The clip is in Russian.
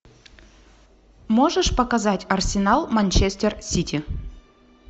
можешь показать арсенал манчестер сити